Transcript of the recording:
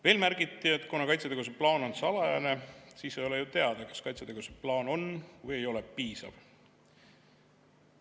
Veel märgiti, et kuna kaitsetegevuse plaan on salajane, siis ei ole ju teada, kas kaitsetegevuse plaan on või ei ole piisav.